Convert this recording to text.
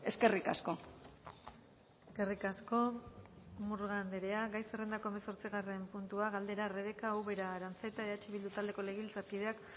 eskerrik asko eskerrik asko murga andrea gai zerrendako hemezortzigarren puntua galdera rebeka ubera aranzeta eh bildu taldeko legebiltzarkideak